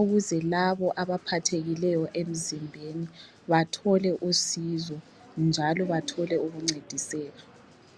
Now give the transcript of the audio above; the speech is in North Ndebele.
ukuze labo abaphathekileyo emzimbeni bathole usizo njalo bathole ukuncediseka.